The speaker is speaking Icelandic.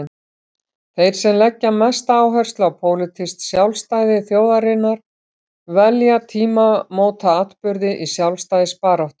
Þeir sem leggja mesta áherslu á pólitískt sjálfstæði þjóðarinnar velja tímamótaatburði í sjálfstæðisbaráttunni.